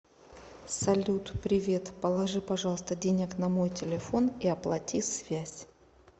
салют привет положи пожалуйста денег на мой телефон и оплати связь